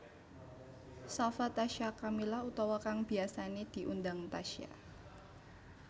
Shafa Tasya Kamila utawa kang biyasané diundang Tasya